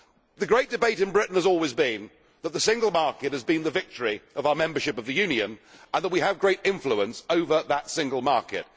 The great debate in Britain has always been that the single market has been the victory of our membership of the Union, and that we have great influence over that single market.